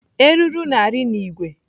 Eruru na-arị n'ìgwè.